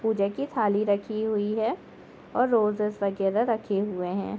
पूजा की थाली राखी हुई है और रोजेज वगैरा रखे हुए है।